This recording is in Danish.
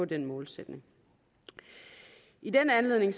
den målsætning i den anledning